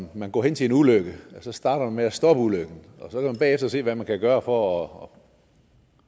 man går hen til en ulykke så starter man med at stoppe ulykken og så kan man bagefter se hvad man kan gøre for at